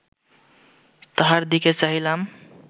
তাহার দিকে চাহিলাম